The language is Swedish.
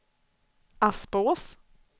Aspås